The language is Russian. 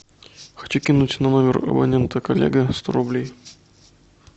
хочу кинуть на номер абонента коллега сто рублей